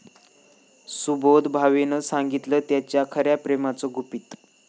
सुबोध भावेनं सांगितलं त्याच्या खऱ्या प्रेमाचं गुपित